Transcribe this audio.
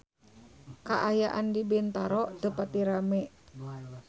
Kaayaan di Bintaro teu pati rame